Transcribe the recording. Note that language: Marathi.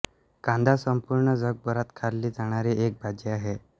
कांदा संपूर्ण जगभरात खाल्ली जाणारी एक भाजी आहे